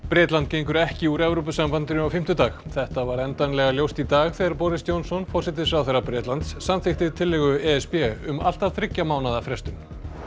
Bretland gengur ekki úr Evrópusambandinu á fimmtudag þetta varð endanlega ljóst í dag þegar Boris Johnson forsætisráðherra Bretlands samþykkti tillögu e s b um allt að þriggja mánaða frestun